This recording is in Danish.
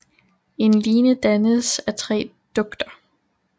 En line dannes af tre dugter